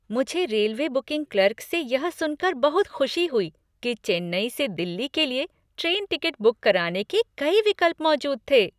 मुझे railway booking clerk से यह सुनकर बहुत खुशी हुई कि चेन्नई से दिल्ली के लिए ट्रेन टिकट बुक कराने के कई विकल्प मौजूद थे।